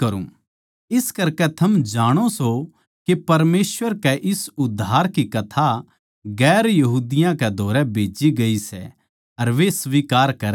इस करकै थम जाणो सो के परमेसवर कै इस उद्धार की कथा दुसरी जात्तां कै धोरै खन्दाई गयी सै अर वे स्वीकार करेंगे